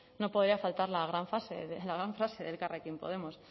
no podía faltar la gran fase de elkarrekin podemos